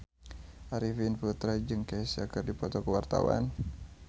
Arifin Putra jeung Kesha keur dipoto ku wartawan